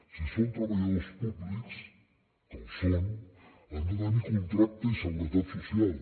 si són treballadors públics que ho són han de tenir contracte i seguretat social